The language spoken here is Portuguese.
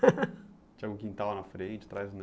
Tinha um quintal na frente, atrás não.